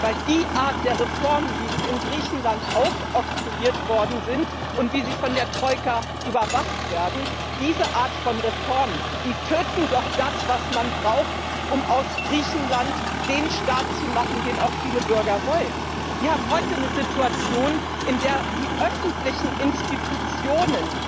Denn die Art der Reformen, wie sie in Griechenland aufoktroyiert worden sind und wie sie von der Troika überwacht werden, tötet doch das, was man braucht, um aus Griechenland den Staat zu machen, den auch viele Bürger wollen. Sie haben heute eine Situation, in der die öffentlichen Institutionen